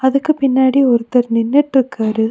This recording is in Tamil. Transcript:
இதுக்கு பின்னாடி ஒருத்தர் நின்னுட்டு இக்காரு.